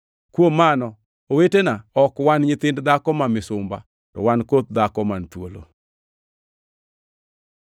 Kuom mano owetena, ok wan nyithind dhako ma misumba, to wan koth dhako man thuolo.